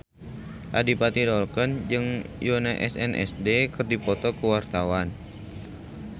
Adipati Dolken jeung Yoona SNSD keur dipoto ku wartawan